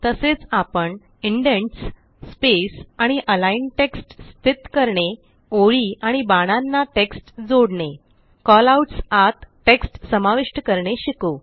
तसेच आपण indents space आणि अलिग्न टेक्स्ट स्थित करणे ओळी आणि बाणांना टेक्स्ट जोडणे कॉलआउट्स आत टेक्स्ट समाविष्ट करणे शिकू